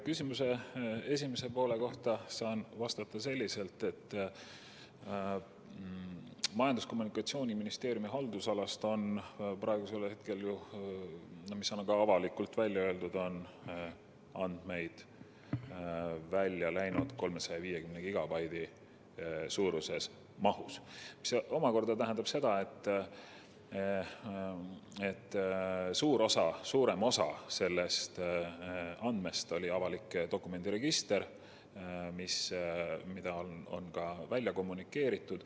Küsimuse esimese poole kohta saan vastata selliselt, et Majandus- ja Kommunikatsiooniministeeriumi haldusalast on praegu andmeid välja läinud 350 gigabaidi suuruses mahus, mis omakorda tähendab, et suurem osa nendest andmetest oli avalik dokumendiregister, mida on ka kommunikeeritud.